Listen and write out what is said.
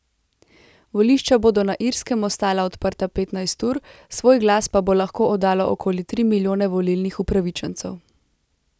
Volišča bodo na Irskem ostala odprta petnajst ur, svoj glas pa bo lahko oddalo okoli tri milijone volilnih upravičencev.